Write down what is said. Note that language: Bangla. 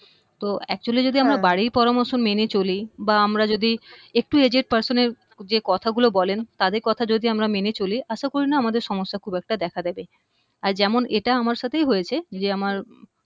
তো actually যদি আমরা বাড়ির পরামর্শ মেনে চলি বা আমরা যদি একটু aged person এর যে কথা গুলো বলেন তাদের কথা যদি আমরা মেনে চলি আশা করি না যে আমাদের সমস্যা খুব একটা দেখা দিবে আর যেমন এটা আমার সাথেই হয়েছে যে আমার